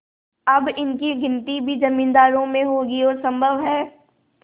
अब इनकी गिनती भी जमींदारों में होगी और सम्भव है